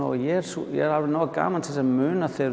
og ég er alveg nógu gamall til að muna þegar